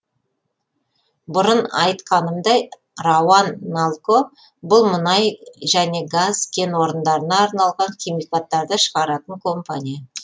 бұрын айтқанымдай рауан налко бұл мұнай және газ кен орындарына арналған химикаттарды шығаратын компания